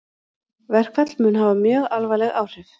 Verkfall mun hafa mjög alvarleg áhrif